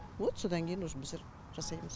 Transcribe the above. вот содан кейін уже біздер жасаймыз